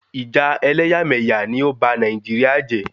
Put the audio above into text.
Ìjà ẹlẹ́yàmẹ̀yà ni ó ba Nàìjíríà jẹ́